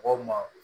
Mɔgɔw ma